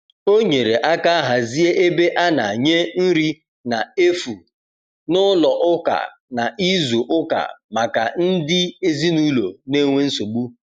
o nyere aka hazie ebe ana nye nri na efụ n'ụlọ ụka na izu uka maka ndi ezinulo n'enwe nsogbu